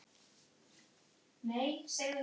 Guð geymi hana.